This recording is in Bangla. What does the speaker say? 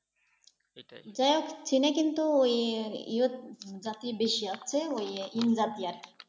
যাইহোক চীন এ কিন্তু ওই জাতি বেশি আছে ওই